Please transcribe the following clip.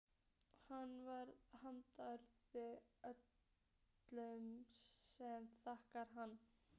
Hann varð harmdauði öllum sem þekktu hann.